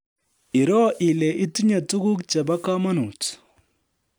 Iroo ile itinye tuguk chebo komonut